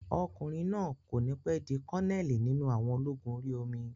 Ọkùnrin náà kò ní pẹ́ di kọ́nẹ̀lì nínú àwọn ológun orí omi